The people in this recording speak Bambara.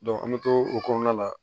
an bɛ to o kɔnɔna la